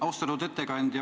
Austatud ettekandja!